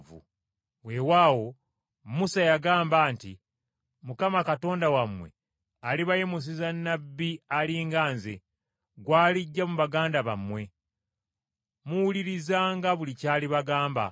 Weewaawo Musa yagamba nti, ‘Mukama Katonda wammwe alibayimusiza nnabbi ali nga nze, gw’aliggya mu baganda bammwe. Muwulirizanga buli ky’alibagamba.